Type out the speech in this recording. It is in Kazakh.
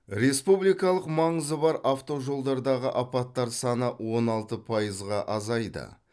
республикалық маңызы бар автожолдардағы апаттар саны он алты пайызға азайды